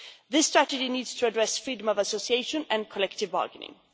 This strategy needs to address freedom of association and collective bargaining.